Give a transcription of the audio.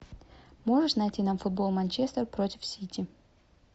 можешь найти нам футбол манчестер против сити